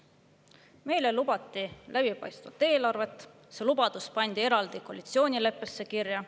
Meile lubati läbipaistvat eelarvet, see lubadus pandi koalitsioonileppesse eraldi kirja.